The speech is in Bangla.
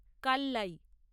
কাল্লাই